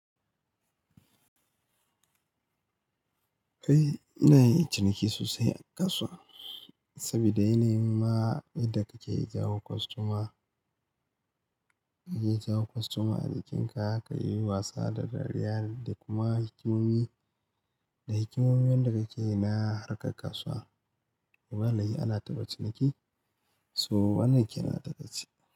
Kai ina yin ciniki sosai a kasuwa saboda yana yinma yadda kake jawo kwastoma, kake jawo kwastoma a jikinka, ka yi wasa da dariya da kuma hikimomi da hikimomin da kake yi na harkar kasuwa. Ba laihi ana ta ba ciniki, so wannan kenan a takaice.